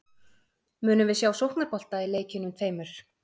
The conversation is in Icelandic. Munum við sjá sóknarbolta í leikjunum tveimur?